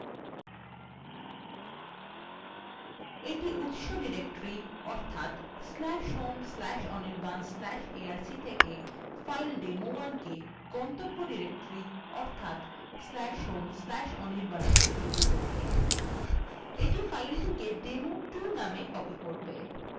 এইটা উত্স directory/home/anirban/arc/থেকে file demo1কে গন্তব্য directory অর্থাৎ/home/anirban a প্রতিপিলি করে এটি ফাইলটিকে demo2 namea copy করবে